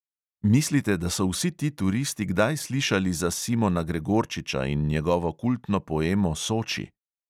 Mislite, da so vsi ti turisti kdaj slišali za simona gregorčiča in njegovo kultno poemo soči?